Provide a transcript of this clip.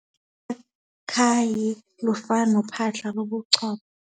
Ukhakhayi lufana nophahla lobuchopho.